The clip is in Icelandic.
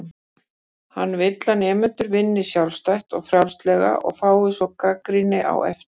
Hann vill að nemendur vinni sjálfstætt og frjálslega og fái svo gagnrýni á eftir.